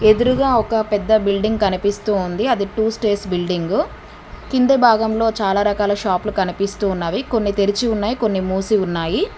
ఎదురుగా ఒక పెద్ద బిల్డింగ్ కనిపిస్తూ ఉంది అది టూ స్టేస్ బిల్డింగు కింద భాగంలో చాలా రకాల షాప్లు కనిపిస్తూ ఉన్నవి కొన్ని తెరిచి ఉన్నాయి కొన్ని మూసి ఉన్నాయి.